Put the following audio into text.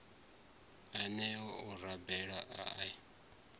aneo o raloho a a